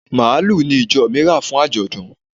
Màlúù ni ìjọ mi rà fún àjọ̀dún.